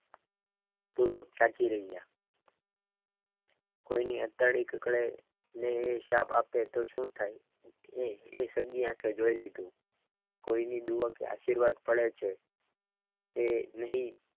તાકી રહ્યા કોઈની આતેડી કપડે તે હિસાબ આપે તો શું થાય અહીં એ સગી આંખે જોઈ લીધું કોઈની દુઆ કે આશીર્વાદ મળે છે એ નહીં.